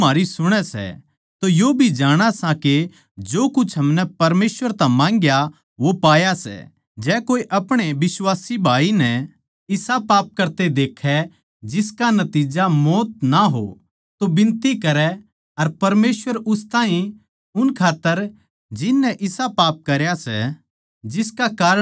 जै कोए अपणे बिश्वासी भाई नै इसा पाप करते देखै जिसका नतिज्जा मौत ना हो तो बिनती करै अर परमेसवर उस ताहीं उन खात्तर जिन नै इसा पाप करया सै जिसका कारण मौत ना हो जीवन देगा जिस पाप का नतिज्जा मृत्यु सै मै इसकै बारें म्ह बिनती करण खात्तर न्ही कहन्दा